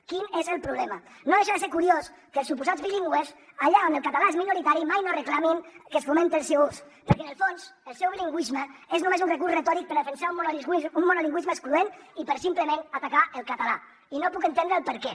quin és el problema no deixa de ser curiós que els suposats bilingües allà on el català és minoritari mai no reclamin que es fomenti el seu ús perquè en el fons el seu bilingüisme és només un recurs retòric per defensar un monolingüisme excloent i per simplement atacar el català i no puc entendre el perquè